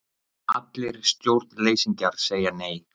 allir stjórnleysingjar segja Nei!